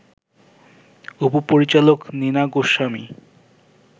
উপ-পরিচালক Neena Goswami